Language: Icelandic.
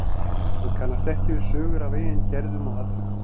Hann kannast ekki við sögur af eigin gerðum og atvikum.